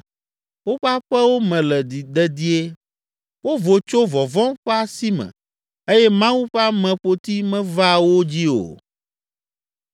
Woƒe aƒewo me le dedie, wovo tso vɔvɔ̃ ƒe asi me eye Mawu ƒe ameƒoti mevaa wo dzi o.